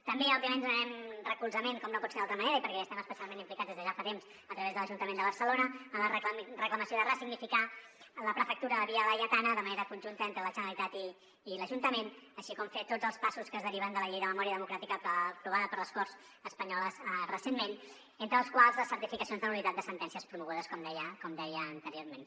també òbviament donarem recolzament com no pot ser d’altra manera i perquè hi estem especialment implicats des de ja fa temps a través de l’ajuntament de barcelona a la reclamació de ressignificar la prefectura de via laietana de manera conjunta entre la generalitat i l’ajuntament així com fer tots els passos que es deriven de la llei de memòria democràtica aprovada per les corts espanyoles recentment entre els quals les certificacions de nul·litat de sentències promogudes com deia anteriorment